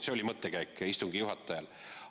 See oli istungi juhataja mõttekäik.